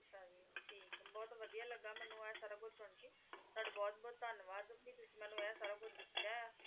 ਅੱਛਾ ਜੀ ਠੀਕ ਆ ਬਹੁਤ ਵਧੀਆ ਲੱਗਾ ਮੈਨੂੰ ਆ ਸਾਰਾ ਕੁਛ ਸੁਣਕੇ ਤੁਹਾਡਾ ਬਹੁਤ ਬਹੁਤ ਧੰਨਵਾਦ ਕੇ ਤੁਸੀ ਮੈਨੂੰ ਐ ਸਾਰਾ ਕੁਛ ਦਸਿਆ ਆ ਤੇ ਮੈਨੂੰ,